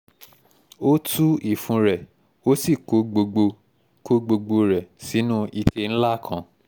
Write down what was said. ó tú ìfun rẹ̀ ó sì kó gbogbo kó gbogbo rẹ̀ sínú ike ńlá kan